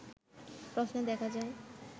প্রশ্নে দেখা যায়